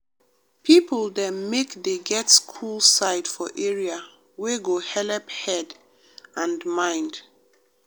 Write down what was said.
people dem make dey get cool side for area wey go helep head and mind.